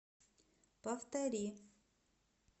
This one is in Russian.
повтори